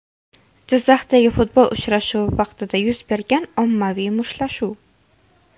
Jizzaxdagi futbol uchrashuvi vaqtida yuz bergan ommaviy mushtlashuv.